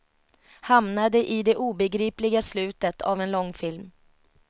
Hamnade i det obegripliga slutet av en långfilm.